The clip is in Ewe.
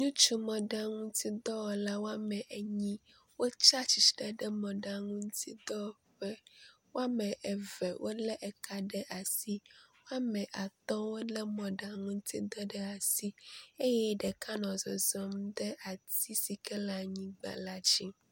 Ŋutsu mɔɖaŋutsidɔwɔla wɔme enyi wotsi atsitre ɖe mɔɖaŋutidɔwɔƒe. Wɔme eve wo le eka ɖe asi. Wɔme atɔ wo le mɔɖaŋutidɔ ɖe asi eye ɖeka nɔ zɔzɔm ɖe ati si ke le anyigba la dzi.